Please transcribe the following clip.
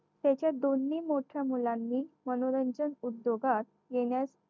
त्याच्या दोन्ही मोठ्या मुलांनी मनोरंजन उद्योगास येण्यास